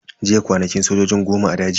Jiya kwanakin sojojin goma a daji.